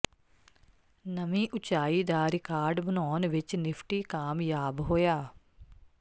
ਨਵੀਂ ਉੱਚਾਈ ਦਾ ਰਿਕਾਰਡ ਬਣਾਉਣ ਵਿੱਚ ਨਿਫਟੀ ਕਾਮਯਾਬ ਹੋਇਆ